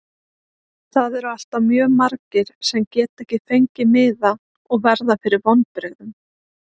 Það eru alltaf mjög margir sem geta ekki fengið miða og verða fyrir vonbrigðum.